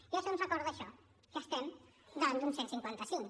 i això ens recorda això que estem davant d’un cent i cinquanta cinc